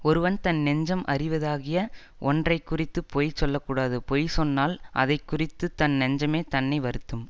ஒருவன் தன் நெஞ்சம் அறிவதாகிய ஒன்றைக்குறித்துப் பொய் சொல்ல கூடாது பொய் சொன்னால் அதைக்குறித்துத் தன் நெஞ்சமே தன்னை வருத்தும்